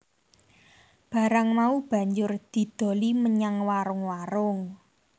Barang mau banjur didoli menyang warung warung